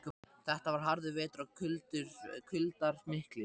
Þetta var harður vetur og kuldar miklir.